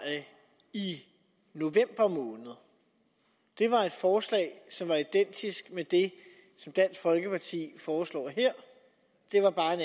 i november måned var et forslag som var identisk med det som dansk folkeparti foreslår her det var bare en